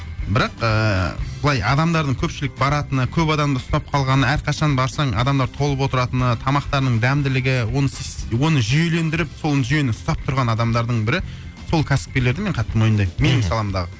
бірақ ыыы былай адамдардың көпшілік баратыны көп адамды ұстап қалғаны әрқашан барсаң адамдар толып отыратыны тамақтарының дәмділігі оны оны жүйелендіріп сол жүйені ұстап тұрған адамдардың бірі сол кәсіпкерлерді мен қатты мойындаймын мхм менің саламдағы